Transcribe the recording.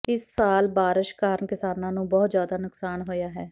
ਇਸ ਸਾਲ ਬਾਰਸ਼ ਕਾਰਨ ਕਿਸਾਨਾਂ ਨੂੰ ਬਹੁਤ ਜ਼ਿਆਦਾ ਨੁਕਸਾਨ ਹੋਇਆ ਹੈ